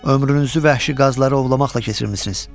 Ömrünüzü vəhşi qazları ovlamaqla keçirmisiniz.